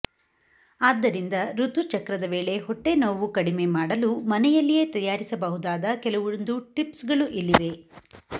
ಆದ್ದರಿಂದ ಋತುಚಕ್ರದ ವೇಳೆ ಹೊಟ್ಟೆನೋವು ಕಡಿಮೆ ಮಾಡಲು ಮನೆಯಲ್ಲಿಯೇ ತಯಾರಿಸಬಹುದಾದ ಕೆಲವೊಂದು ಟಿಪ್ಸ್ ಗಳು ಇಲ್ಲಿವೆ